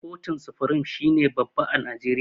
Kotu supirim shine babba a najeriya.